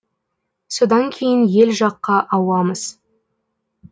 содан кейін ел жаққа ауамыз